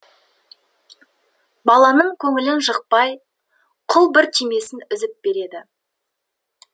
баланың көңілін жықпай құл бір түймесін үзіп береді